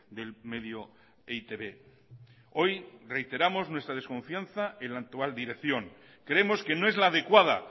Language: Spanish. del medio e i te be hoy reiteramos nuestra desconfianza en la actual dirección creemos que no es la adecuada